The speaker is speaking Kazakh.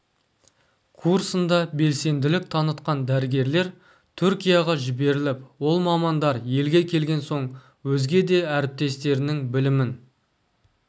курсында белсенділік танытқан дәрігерлер түркияға жіберіліп ол мамандар елге келген соң өзге де әріптестерінің білімін